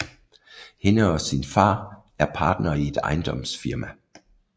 Hende og sin far er partnere i et ejendomsfirma